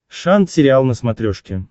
шант сериал на смотрешке